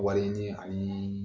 Wari ɲini ani